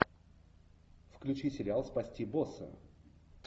включи сериал спасти босса